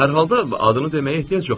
hər halda adını deməyə ehtiyac yoxdur.